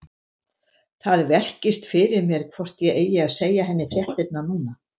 Það velkist fyrir mér hvort ég eigi að segja henni fréttirnar núna.